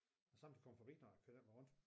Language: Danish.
Kan sagtens komme forbi der og køre den vej rundt